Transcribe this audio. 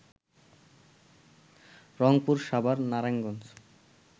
Rangpur, Savar, Narayanganj